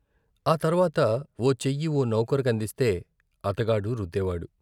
ఆ తర్వాత ఓ చెయ్యి ఓ నౌకరు కందిస్తే అతగాడు రుద్దేవాడు.